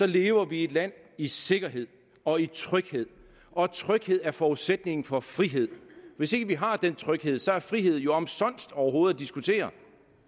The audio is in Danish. lever vi i et land i sikkerhed og i tryghed og tryghed er forudsætningen for frihed hvis ikke vi har den tryghed så er frihed jo omsonst overhovedet at diskutere